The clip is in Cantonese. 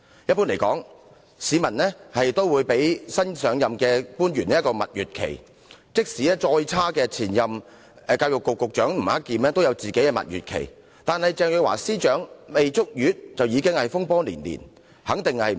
一般來說，市民都會給予新上任官員一段蜜月期，即使更差的前任教育局局長吳克儉亦享有蜜月期，但鄭若驊司長卻上任不足一個月便已經風波連連。